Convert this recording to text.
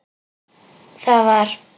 Það var.